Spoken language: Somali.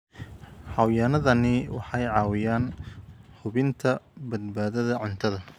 Xayawaanadani waxay caawiyaan hubinta badbaadada cuntada.